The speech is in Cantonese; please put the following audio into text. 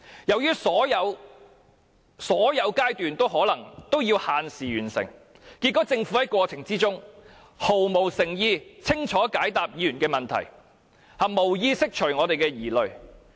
由於所有階段都要限時完成，結果政府在過程中毫無誠意去清楚解答議員的問題，也無意釋除我們的疑慮。